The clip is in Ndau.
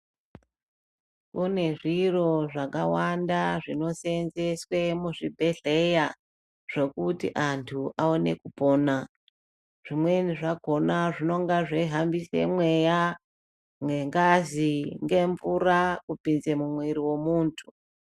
Kune zviro zvakawanda zvinoseenzeswe muzvibhedhleya zvokuti antu aone kupona. Zvimweni zvakona zvinonga zveihambise mweya ngengazi ngemvura kupinze mumwiri wemuntu.